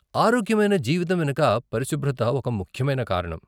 ఆరోగ్యమైన జీవితం వెనుక పరిశుభ్రత ఒక ముఖ్యమైన కారణం.